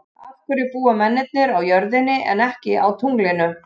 Af hverju búa mennirnir á jörðinni en ekki á tunglinu?